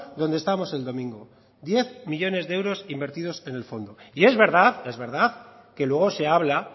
donde estábamos el domingo diez millónes de euros invertidos en el fondo y es verdad que luego se habla